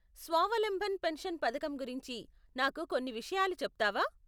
స్వావలంబన పెన్షన్ పథకం గురించి నాకు కొన్ని విషయాలు చెప్తావా?